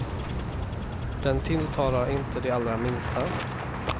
Den tilltalar inte de allra minsta.